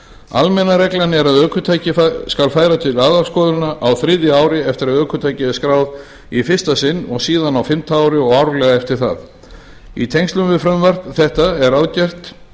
almenna reglan er að ökutæki skal færa til aðalskoðunar á þriðja ári eftir að ökutækið er skráð í fyrsta sinn síðan á fimmta ári og árlega eftir það í tengslum við frumvarp þetta er ráðgert